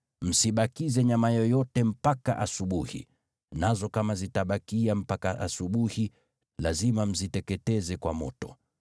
Msibakize nyama yoyote mpaka asubuhi; nazo kama zitabakia mpaka asubuhi, lazima mziteketeze kwa moto.